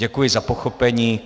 Děkuji za pochopení.